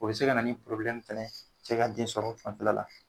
O bi se ka na ni fɛnɛ ye cɛ ka den sɔrɔ fanfɛla.